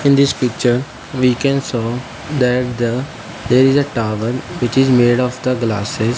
in this picture we can saw that the there is a towel which is made of the glasses.